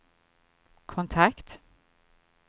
kontakt